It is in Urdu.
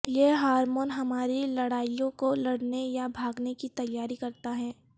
یہ ہارمون ہماری لڑائیوں کو لڑنے یا بھاگنے کی تیاری کرتا ہے